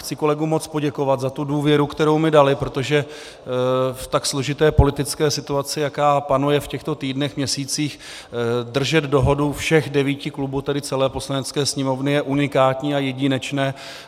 Chci kolegům moc poděkovat za tu důvěru, kterou mi dali, protože v tak složité politické situaci, jaká panuje v těchto týdnech, měsících, držet dohodu všech devíti klubů, tedy celé Poslanecké sněmovny, je unikátní a jedinečné.